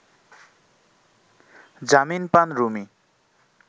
জামিন পান রুমি